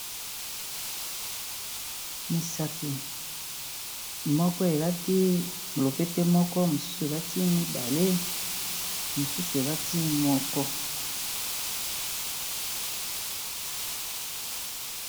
Misapi moko elati lopete moko, mosusu elati mibale mosusu elati moko.